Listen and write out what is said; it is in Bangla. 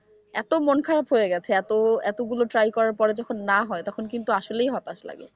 এত মন খারাপ হয়ে গেছে এত এতগুলো try করার পরে যখন না হয় তখন কিন্তু আসলেই হতাশ লাগে।